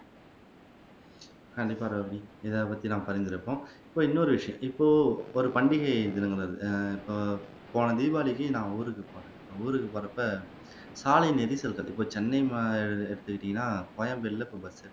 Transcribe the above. கண்டிப்பா ரோஹினி இத பத்தி நம்ம பரிந்துரைப்போம் இப்போ இன்னொரு விஷயம் இப்போ ஒரு பண்டிகை நினைவு வருது ஆஹ் எப்போ போன தீபாவளிக்கு நான் ஊருக்கு ஊருக்கு போறப்ப சாலை நெரிசல் பத்திபோச்சு சென்னை மாநகர எடுத்திக்கிட்டீங்கன்னா கோயம்பர்ல கும்பல்